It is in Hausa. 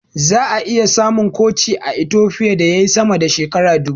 Zaka iya samun coci a Itofiya da yayi sama da shekara dubu.